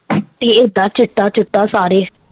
ਏਹ ਤਾਂ ਚਿੱਟਾ ਚੁਟਾ ਸਾਰੇ